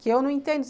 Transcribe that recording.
Que eu não entendo.